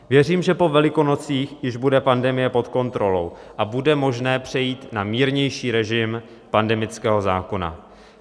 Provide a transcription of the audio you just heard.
Věřím, že po Velikonocích už bude pandemie pod kontrolou a bude možné přejít na mírnější režim pandemického zákona.